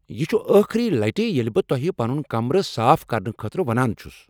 یہ چھ ٲخٕری لٹہ ییٚلہ بہٕ تۄہہ پنن کمرٕ صاف کرنہٕ خٲطرٕ ونان چھس۔